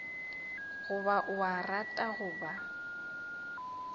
goba o a rata goba